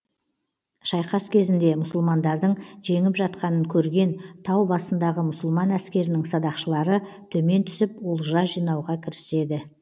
шайқас кезінде мұсылмандардың жеңіп жатқанын көрген тау басындағы мұсылман әскерінің садақшылары төмен түсіп олжа жинауға кіріседі